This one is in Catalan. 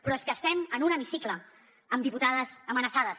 però és que estem en un hemicicle amb diputades amenaçades